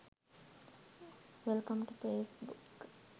welcome to facebook